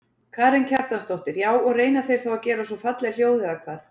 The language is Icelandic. Karen Kjartansdóttir: Já og reyna þeir þá að gera svona falleg hljóð eða hvað?